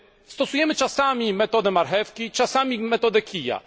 Stosujemy czasami metodę marchewki, czasami metodę kija.